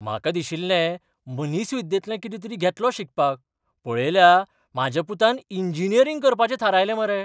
म्हाका दिशिल्लें मनीसविद्येंतली कितें तरी घेतलो शिकपाक, पळयल्या म्हाज्या पुतान इंजिनियरिंग करपाचें थारायलें मरे.